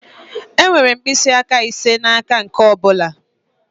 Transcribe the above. Enwere mkpịsị aka ise n'aka nke ọ bụla.